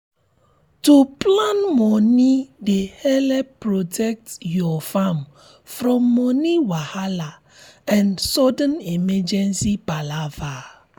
to plan moni dey help protect your farm from moni wahala and sudden emergency palava.